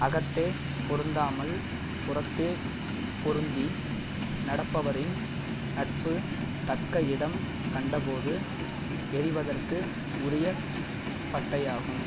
அகத்தே பொருந்தாமல் புறத்தே பொருந்தி நடப்பவரின் நட்பு தக்க இடம் கண்டபோது எறிவதற்கு உரிய பட்டையாகும்